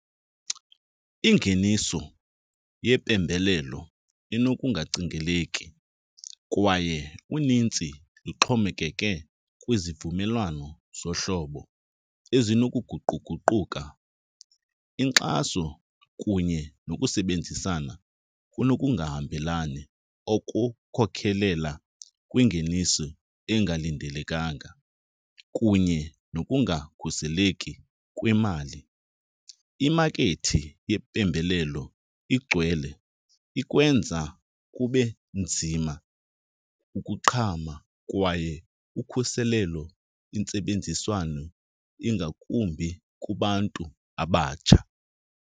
Ingeniso yempembelelo inokungacingeleki kwaye unintsi lixhomekeke kwizivumelwano zohlobo ezinokuguquguquka. Inkxaso kunye nokusebenzisana kunokungahambelani okukhokhelela kwingeniso engalindelekanga kunye nokungakhuseleki kwemali. Imakethi yempembelelo igcwele, ikwenza kube nzima ukuqhama kwaye ukhuselelo intsebenziswano ingakumbi kubantu abatsha.